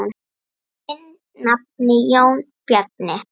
Þinn nafni, Jón Bjarni.